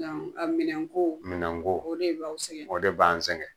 Yan minɛnko, minɛnko o de b'aw sɛgɛn ,o de b'an sɛngɛ!